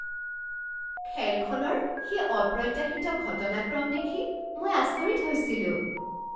খেলখনৰ সেই অপ্ৰত্যাশিত ঘটনাক্ৰম দেখি মই আচৰিত হৈছিলোঁ।